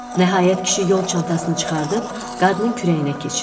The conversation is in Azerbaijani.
Nəhayət kişi yol çantasını çıxarıb qadının kürəyinə keçirtdi.